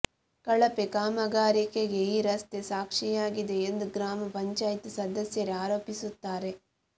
ಕಳಪೆ ಕಾಮಗಾರಿಗೆ ಈ ರಸ್ತೆ ಸಾಕ್ಷಿಯಾಗಿದೆ ಎಂದು ಗ್ರಾಮ ಪಂಚಾಯಿತಿ ಸದಸ್ಯರೇ ಆರೋಪಿಸುತ್ತಾರೆ